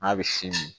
N'a bɛ sin min